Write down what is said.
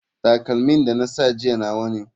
Takalmin da na sa jiya nawa ne.